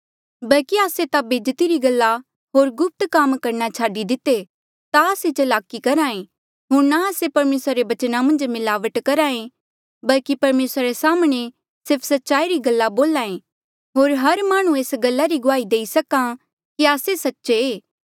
बल्की आस्से ता बेज्जती री गल्ला होर गुप्त काम करणा छाडी दिते ना आस्से चलाकी करहा ऐें होर ना आस्से परमेसरा रे बचना मन्झ मिलावट करहा ऐें बल्की परमेसरा रे साम्हणें सिर्फ सच्चाई री गल्ला बोल्हा ऐ होर हर माह्णुं एस गल्ला री गुआही देई सकां कि आस्से सच्चे ऐें